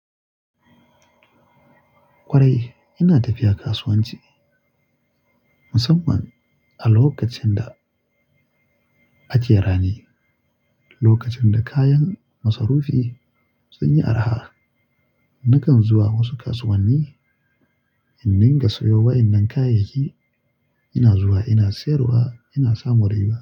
Kwarai, ina tafiya kasuwanci musamman a lokacin da ake rani, lokacin da kayan masarufi sun yi arha. Nakan zuwa wasu kasuwanni in dinga sayo wa'innan kayayyaki. Ina zuwa ina siyarwa, ina samun riba.